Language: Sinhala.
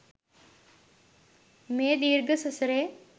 මේ දීර්ඝ සසරේ